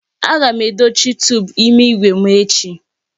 Aga m edochi tuubu ime igwe m echi.